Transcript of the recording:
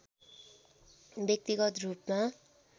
व्यक्तिगत रूपमा